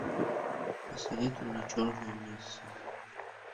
посоветуй мне черная месса